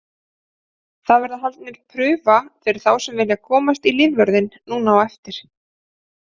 Það verður haldin prufa fyrir þá sem vilja komast í lífvörðinn núna á eftir.